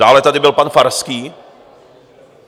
Dále tady byl pan Farský.